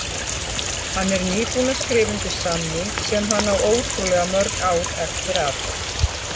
Hann er nýbúinn að skrifa undir samning sem hann á ótrúlega mörg ár eftir af